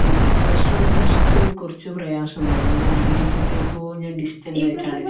പിന്നെ plus one plus two കുറച്ച പ്രയാസം ഇണ്ടായിരുന്നു ഡിഗ്രിക്ക് എത്തിയപ്പോ ഞാൻ ഡിസ്റ്റന്റ് ആയിട്ടാണ് ചെയ്തത്